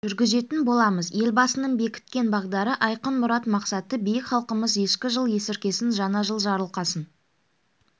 жүргізетін боламыз елбасының бекіткен бағдары айқын мұрат-мақсаты биік халқымыз ескі жыл есіркесін жаңа жыл жарылқасын